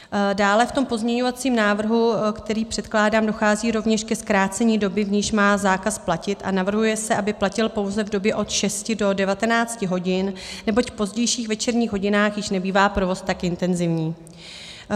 Dále v tom pozměňovacím návrhu, který předkládám, dochází rovněž ke zkrácení doby, v níž má zákaz platit, a navrhuje se, aby platil pouze v době od 6 do 19 hodin, neboť v pozdějších večerních hodinách již nebývá provoz tak intenzivní.